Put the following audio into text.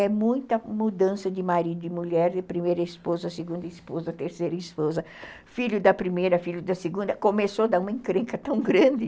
é muita mudança de marido e mulher, primeira esposa, segunda esposa, terceira esposa, filho da primeira, filho da segunda, começou a dar uma encrenca tão grande.